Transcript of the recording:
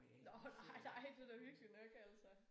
Nåh nej nej det da hyggeligt nok altså